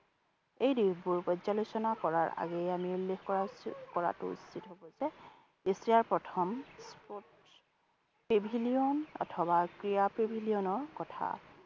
এই দিশবোৰ পৰ্যালোচনা কৰাৰ আগেয়ে আমি উল্লেখ কৰা সূচী কৰাটো উচিত হব যে asia প্ৰথম sports pavilion অথবা ক্ৰীড়া Pavilion ৰ কথা